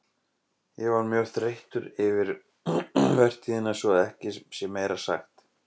Ég var mjög þreyttur eftir vertíðina svo að ekki sé meira sagt.